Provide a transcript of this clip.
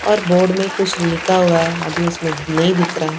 और बोर्ड में कुछ लिखा हुआ है अभी उसमें नहीं दिख रहा है।